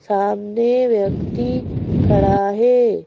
सामने व्यक्ति खड़ा है।